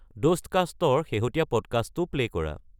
ডোষ্টকাষ্টৰ শেহতীয়া পডকাষ্টটো প্লে' কৰা